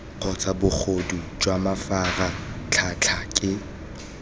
kgotsa bogodu jwa mafaratlhatlha ke